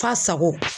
Fa sago